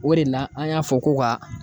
O de la, an y'a fɔ ko ka